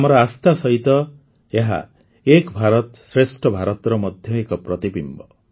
ଆମର ଆସ୍ଥା ସହିତ ଏହା ଏକ ଭାରତ ଶ୍ରେଷ୍ଠ ଭାରତର ମଧ୍ୟ ଏକ ପ୍ରତିବିମ୍ବ